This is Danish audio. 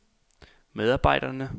medarbejderne